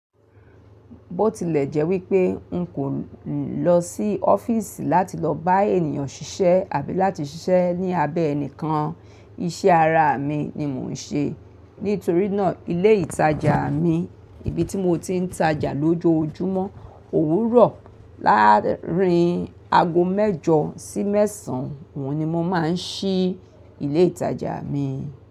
Bó tilẹ̀ jẹ́ wípé n kò lọ sí ọ́fíìsì láti lọ bá ènìyàn ṣiṣẹ́ àbí láti ṣiṣẹ́ ní abẹ́ ẹnikán, iṣẹ́ ara mi ni mò ń ṣe. Nítorínà ilé ìtajà mi, ibi tí mo ti ń tajà lójojúmọ́, òwúrọ̀ láàárín ago mẹ́jọ sí mẹ́sàn oun ni mo máa ń ṣí ilé ìtajà mi.